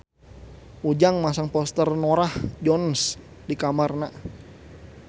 Ujang masang poster Norah Jones di kamarna